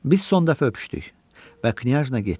Biz son dəfə öpüşdük və knyajna getdi.